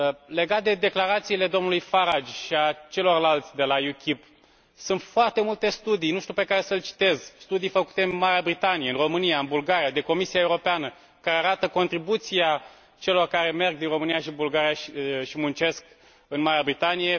Legat de declarațiile domnului Farage și ale celorlalți de la UKIP, sunt foarte multe studii, nu știu pe care să îl citez studii făcute în Marea Britanie, în România, în Bulgaria, de Comisia Europeană, care arată contribuția celor care merg din România și Bulgaria și muncesc în Marea Britanie faptul că sunt mai mulți bani pe care îi dau acolo decât iau din Marea Britanie